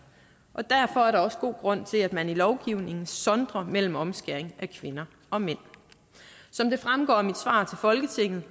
og derfor er der også god grund til at man i lovgivningen sondrer mellem omskæring af kvinder og mænd som det fremgår af mit svar til folketinget